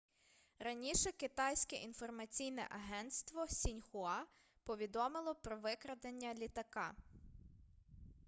раніше китайське інформаційне агентство сіньхуа повідомило про викрадення літака